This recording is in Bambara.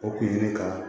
O kun ye ne ka